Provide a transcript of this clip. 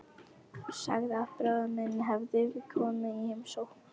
Sagði að bróðir minn hefði komið í heimsókn.